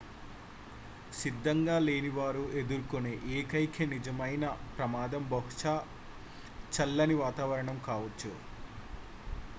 సిద్ధంగా లేని వారు ఎదుర్కొనే ఏకైక నిజమైన ప్రమాదం బహుశా చల్లని వాతావరణం కావచ్చు